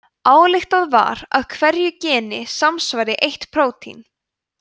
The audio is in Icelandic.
ályktað var að hverju geni samsvari eitt prótín